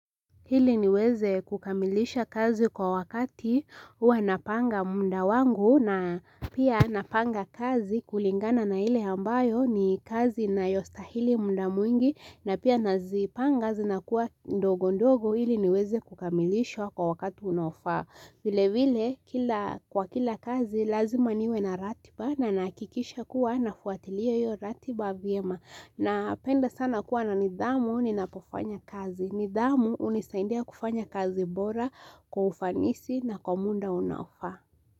Ili niweze kukamilisha kazi kwa wakati hua napanga munda wangu na pia napanga kazi kulingana na ile ambayo ni kazi inayostahili muda mwingi na pia nazipanga zinakuwa ndogo ndogo ili niweze kukamilisha kwa wakati unaofaa. Vile vile, kwa kila kazi, lazima niwe na ratiba na nahakikisha kuwa nafuatilia hiyo ratiba vyema. Napenda sana kuwa na nidhamu ninapofanya kazi. Nidhamu hunisaindia kufanya kazi bora kwa ufanisi na kwa muda unaofaa.